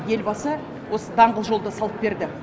елбасы осы даңғыл жолды салып берді